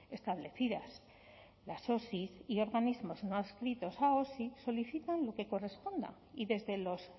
establecidas las osi y organismos nos adscritos a osi solicitan lo que corresponda y desde los